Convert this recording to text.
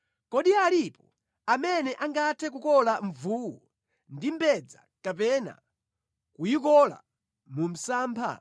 Kodi alipo amene angathe kukola mvuwu ndi mbedza kapena kuyikola mu msampha?